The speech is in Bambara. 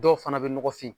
Dɔw fana bɛ nɔgɔfin